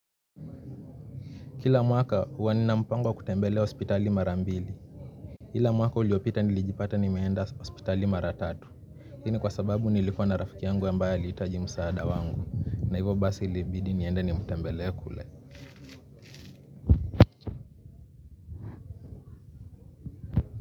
Kila mwaka huwa ninampango wa kutembelea hospitali mara mbili. Ila mwaka uliopita nilijipata nimeenda hospitali mara tatu. Hii ni kwa sababu nilikuwa na rafiki yangu ambaye aliitaji msaada wangu. Na hivyo basi ilibidi niende ni mtembele kule.